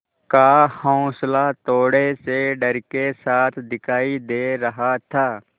का हौंसला थोड़े से डर के साथ दिखाई दे रहा था